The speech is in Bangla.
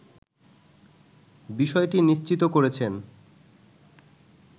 বিষয়টি নিশ্চিত করেছেন